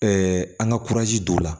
an ka don o la